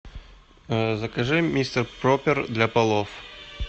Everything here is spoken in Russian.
закажи мистер пропер для полов